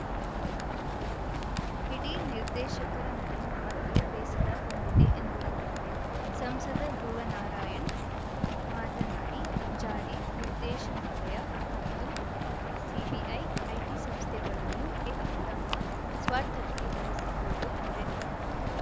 ಇಡಿ ನಿರ್ದೇಶಕರ ನಡೆ ನಮಗೆ ಬೇಸರ ತಂದಿದೆ ಎಂದರು ಸಂಸದ ಧ್ರುವನಾರಾಯಣ್‌ ಮಾತನಾಡಿ ಜಾರಿ ನಿರ್ದೇಶನಾಲಯ ಮತ್ತು ಸಿಬಿಐ ಐಟಿ ಸಂಸ್ಥೆಗಳನ್ನು ಕೇಂದ್ರ ಸರ್ಕಾರ ತಮ್ಮ ಸ್ವಾರ್ಥಕ್ಕೆ ಬಳಸಿಕೊಳ್ಳುತ್ತಿದೆ